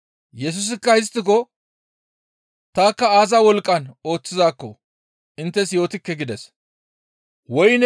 Yesusikka histtiko, «Tanikka aaza wolqqan ooththizaakko inttes yootikke» gides.